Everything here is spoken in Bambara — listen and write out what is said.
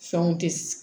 Fɛnw tɛ